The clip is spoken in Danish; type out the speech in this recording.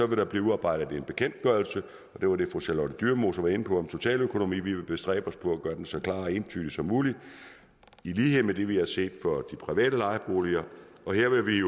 vil der blive udarbejdet en bekendtgørelse og det var det fru charlotte dyremose var inde på om totaløkonomi vi vil bestræbe os på at gøre den så klar og entydig som muligt i lighed med det vi har set for de private lejeboliger og her vil vi